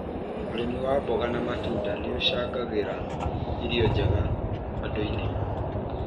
ũrĩmi wa mboga na matunda nĩ ũcangagĩra irio njega andũ-inĩ.